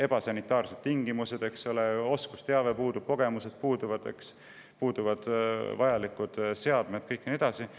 Ebasanitaarsed tingimused, oskusteave puudub, kogemused puuduvad, puuduvad vajalikud seadmed ja nii edasi.